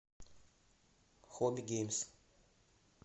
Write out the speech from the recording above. хобби геймс